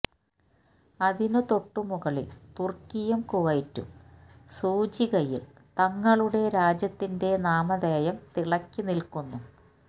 അതിനു തൊട്ടുമുകളിൽ തുർക്കിയും കുവൈറ്റും സൂചികയിൽ തങ്ങളുടെ രാജ്യത്തിന്റെ നാമധേയം തിളക്കി നിൽക്കുന്നു